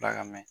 Ala ka mɛn